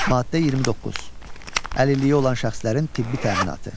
Maddə 29: Əlilliyi olan şəxslərin tibbi təminatı.